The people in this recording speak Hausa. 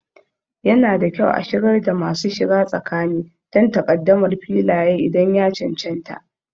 Yana da kyau a shigar da masu shiga tsakani don takaddamar Filaye idan ya cancanta.